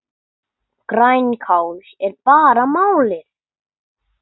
Grænkál er bara málið!